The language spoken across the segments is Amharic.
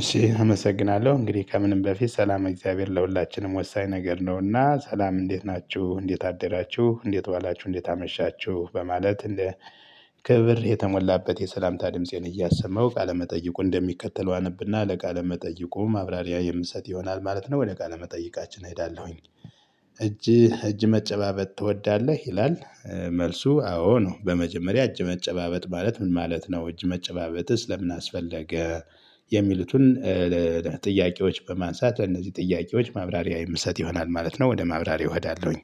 እሺ አመሰግናለሁ እንግዲህ ከምንም በፊት ሰላም እግዚአብሔር ለሁላችንም ወሳኝ ነገር ነውና ሰላም እንዴት ናችሁ እንዴት አደራችሁ እንዴት ዋላችሁ እንዴት አመሻችሁ በማለት እንደ ክብር የተሞላበት የሰላምታ ድምፄን እያሰማሁ ቃለመጠይቁ እንደሚከተለው አነብና ለቃለመጠይቁ ማብራሪያ የምሰጥ ይሆናል ማለት ነው ወደ ቃለመጠይቃችን እሄዳለሁኝ እጅ እጅ መጨባበጥ ትወዳለህ ይላል? መልሱ አዎ ነው። በመጀመሪያ እጅ መጨባበጥ ማለት ምን ማለት ነው? እጅ መጨባበጥስ ለምን አስፈለገ? የሚሉትን ጥያቄዎች በማንሳት ለእነዚህ ጥያቄዎች ማብራሪያ የምሰጥ ይሆናል ማለት ነው። ወደ ማብራሪያው እሄዳለሁኝ።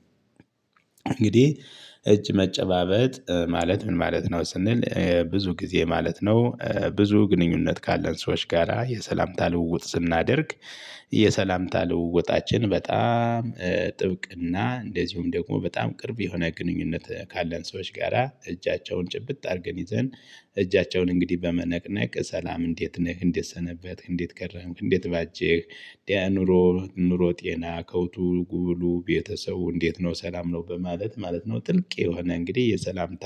እንግዲህ እጅ መጨባበጥ ማለት ምን ማለት ነው? ስንል ብዙ ጊዜ ማለት ነው ብዙ ግንኙነት ካለን ሰዎች ጋራ የሰላምታ ልውውጥ ስናደርግ። የሰላምታ ልውውጣችን በጣም ጥብቅ እና እንደዚሁም ደግሞ በጣም ቅርብ የሆነ ግንኙነት ካለን ሰዎች ጋራ እጃቸውን ጭብጥ አድርገን ይዘን እጃቸውን እንግዲህ በመነቅነቅ ሰላም እንዴት ነህ እንዴት ሰነበትክ እንዴት ከረምክ እንዴት ባጀህ። ኑሮ ኑሮ ጤና ከብቱ ጉብሉ ቤተሰቡ እንዴት ነው ሰላም ነው በማለት ማለት ነው። ጥልቅ የሆነ እንግዲህ የሰላምታ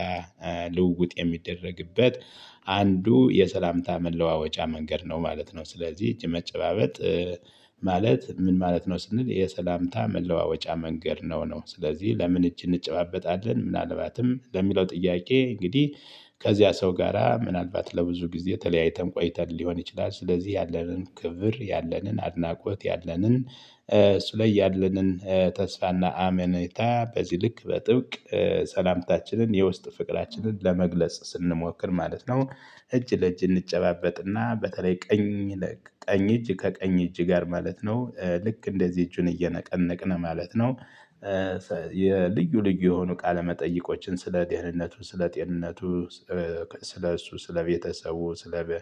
ልውውጥ የሚደረግበት አንዱ የሰላምታ መለዋወጫ መንገድ ነው ማለት ነው። ስለዚህ እጅ መጨባበጥ። ማለት ምን ማለት ነው? ስንል የሰላምታ መለዋወጫ መንገድ ነው። ነው ስለዚህ ለምን እጅ እንጨባበጣለን ምናልባትም ለሚለው ጥያቄ እንግዲህ ከዚያ ሰው ጋራ ምናልባት ለብዙ ጊዜ ተለያይተን ቆይተን ሊሆን ይችላል ስለዚህ ያለንን ክብር ያለንን አድናቆት ያለንን እሱ ላይ ያለንን ተስፋና አመኔታ በዚህ ልክ በጥብቅ ሰላምታችንን የውስጥ ፍቅራችንን ለመግለጽ ስንሞክር ማለት ነው። እጅ ለእጅ እንጨባበጥና በተለይ ቀኝ ለቀ ቀኝ እጅ ከቀኝ እጅ ጋር ማለት ነው ልክ እንደዚህ እጁን እየነቀነቅን ማለት ነው። የልዩ ልዩ የሆኑ ቃለመጠይቆችን ስለ ጤንነቱ ስለ ጤንነቱ ስለ እሱ ስለ ቤተሰቡ ስለ በ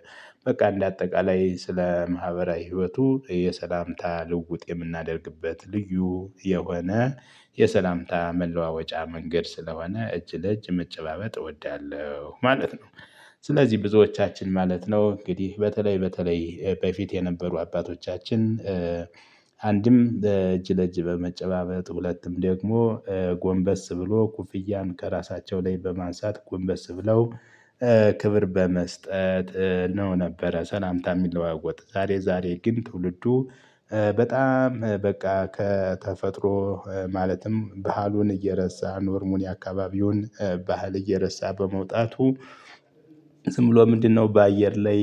በቃ እንደ አጠቃላይ ስለ ማህበራዊ ህይወቱ የሰላምታ ልውጥ የምናደርግበት ልዩ የሆነ የሰላምታ መለዋወጫ መንገድ ስለሆነ እጅ ለእጅ መጨባበጥ እወዳለሁ ማለት ነው። ስለዚህ ብዙዎቻችን ማለት ነው እንግዲህ በተለይ በተለይ በፊት የነበሩ አባቶቻችን። አንድም በእጅ ለእጅ በመጨባበጥ ሁለቱም ደግሞ ጎንበስ ብሎ ኩፍያን ከራሳቸው ላይ በማንሳት ጎንበስ ብለው ክብር በመስጠት ነው ነበረ ሰላምታ የሚለዋወጡት። ዛሬ ዛሬ ግን ትውልዱ በጣም በቃ ከተፈጥሮ ማለትም ባህሉን እየረሳ ኖርሙኒ የአካባቢውን ባህል እየረሳ በመውጣቱ። ዝም ብሎ ምንድነው? በአየር ላይ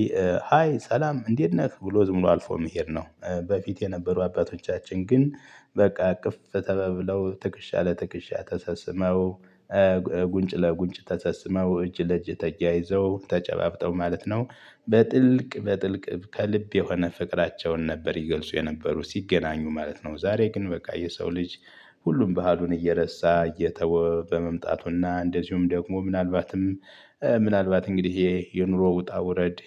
ሃይ ሰላም እንዴት ነክ ብሎ ዝም ብሎ አልፎ መሄድ ነው። በፊት የነበሩ አባቶቻችን ግን በቃ እቅፍ ተባብለው ትክሻ ለትክሻ ተሳስመው ጉንጭ ለጉንጭ ተሳስመው እጅ ለእጅ ተያይዘው ተጨባብጠው ማለት ነው። በጥልቅ በጥልቅ ከልብ የሆነ ፍቅራቸውን ነበር ይገልጹ የነበሩ ሲገናኙ ማለት ነው። ዛሬ ግን በቃ የሰው ልጅ ሁሉም ባህሉን እየረሳ እየተወ በመምጣቱና እንደዚሁም ደግሞ ምናልባትም ምናልባት እንግዲህ ይሄ የኑሮ ውጣ ውረድ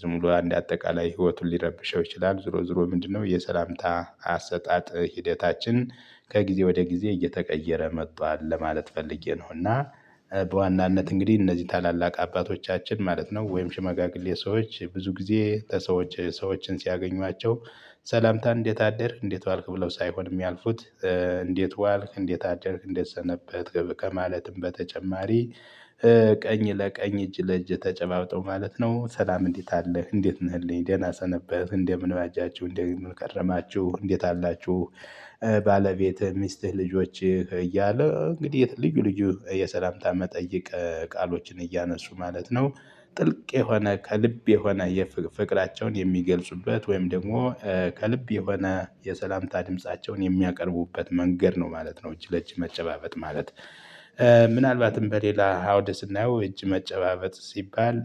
ዝም ብሎ አንድ አጠቃላይ ህይወቱን ሊረብሸው ይችላል። ዝሮ ዝሮ ምንድነው? የሰላምታ አሰጣጥ ሂደታችን ከጊዜ ወደ ጊዜ እየተቀየረ መጥቷል ለማለት ፈልጌ ነው። እና በዋናነት እንግዲህ እነዚህ ታላላቅ አባቶቻችን ማለት ነው ወይም ሽመጋግሌ ሰዎች ብዙ ጊዜ ሰዎች ሰዎችን ሲያገኟቸው ሰላምታን እንዴት አደርክ እንዴት ዋልክ ብለው ሳይሆን የሚያልፉት። እንዴት ዋልክ እንዴት አደርክ እንዴት ሰነበትክ ከማለትም በተጨማሪ ቀኝ ለቀኝ እጅ ለእጅ ተጨባብጠው ማለት ነው። ሰላም እንዴት አለህ እንዴት ነህልኝ ደህና ሰነበህ እንደምን በጃችሁ እንደምን ቀረማችሁ እንዴት አላችሁ። ባለቤት ሚስትህ ልጆችህ እያለ እንግዲህ ልዩ ልዩ የሰላምታ መጠየቅ ቃሎችን እያነሱ ማለት ነው። ጥልቅ የሆነ ከልብ የሆነ የፍ ፍቅራቸውን የሚገልጹበት ወይም ደግሞ ከልብ የሆነ የሰላምታ ድምፃቸውን የሚያቀርቡበት መንገድ ነው ማለት ነው። እጅ ለእጅ መጨባበጥ ማለት ምናልባትም በሌላ ሃውድ ስናየው እጅ መጨባበጥ ሲባል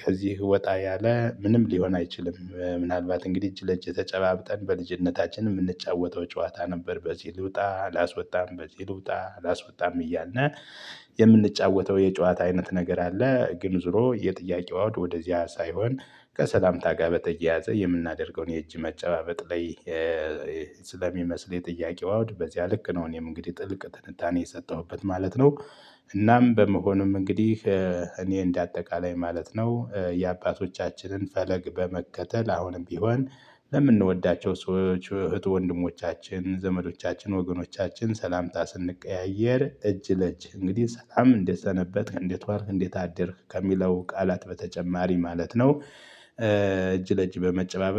ከዚህ ወጣ ያለ ምንም ሊሆን አይችልም። ምናልባት እንግዲህ እጅ ለእጅ ተጨባብጠን በልጅነታችን የምንጫወተው ጨዋታ ነበር። በዚህ ልውጣ ላስወጣም በዚህ ልውጣ አላስወጣም እያልን የምንጫወተው የጨዋታ አይነት ነገር አለ። ግን ዞሮ የጥያቄው አውድ ወደዚያ ሳይሆን ከሰላምታ ጋር በተያያዘ የምናደርገውን የእጅ መጨባበጥ ላይ ስለሚመስል የጥያቄው አውድ በዚያ ልክ ነው እኔም እንግዲህ ጥልቅ ትንታኔ የሰጠሁበት ማለት ነው። እናም በመሆኑም እንግዲህ እኔ እንደ አጠቃላይ ማለት ነው። የአባቶቻችንን ፈለግ በመከተል አሁንም ቢሆን ለምንወዳቸው ሰዎች እህት ወንድሞቻችን ዘመዶቻችን ወገኖቻችን ሰላምታ ስንቀያየር እጅ ለእጅ እንግዲህ ሰላም እንዴት ሰነበትክ እንዴት ዋልክ እንዴት አደርክ ከሚለው ቃላት በተጨማሪ ማለት ነው። እጅ ለእጅ በመጨባበጥ